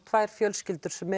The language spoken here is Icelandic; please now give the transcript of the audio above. tvær fjölskyldur sem